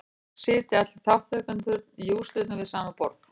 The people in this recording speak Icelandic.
Þannig sitja allir þátttakendurnir í úrslitunum við sama borð.